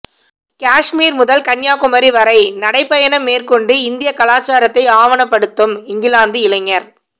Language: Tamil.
காஷ்மீர் முதல் கன்னியாகுமரி வரை நடைபயணம் மேற்கொண்டு இந்திய கலாச்சாரத்தை ஆவணப்படுத்தும் இங்கிலாந்து இளைஞர்